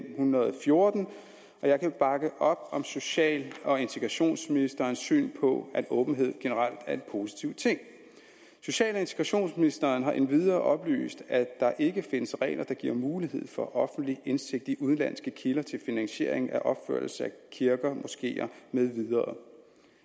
hundrede og fjorten og jeg kan bakke op om social og integrationsministerens syn på at åbenhed generelt er en positiv ting social og integrationsministeren har endvidere oplyst at der ikke findes regler der giver mulighed for offentlig indsigt i udenlandske kilder til finansiering af opførelse af kirker moskeer med videre